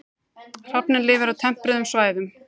Hrafninn lifir á tempruðum svæðum.